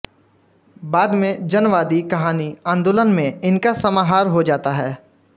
बाद में जनवादी कहानी आंदोलन में इनका समाहार हो जाता है